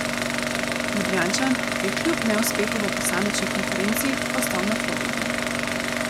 Ljubljančan je kljub neuspehu v posamični konkurenci ostal na Floridi.